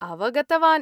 अवगतवान्।